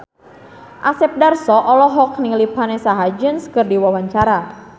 Asep Darso olohok ningali Vanessa Hudgens keur diwawancara